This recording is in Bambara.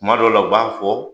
Kuma dɔ la u b'a fɔ